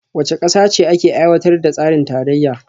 Wace kasa ce ke aiwatar da tsarin tarayya?